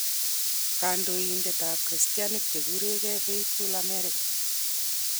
Kandoindet ab kristianik che kuregei Faithful America.